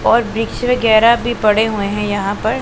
और वृक्ष वगैरा भी पड़े हुए हैं यहां पर--